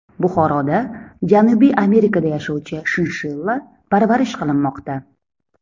Buxoroda Janubiy Amerikada yashovchi shinshilla parvarish qilinmoqda.